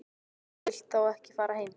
Þú vilt þá ekki fara heim?